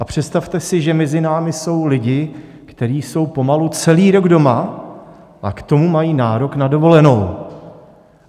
A představte si, že mezi námi jsou lidé, kteří jsou pomalu celý rok doma, a k tomu mají nárok na dovolenou.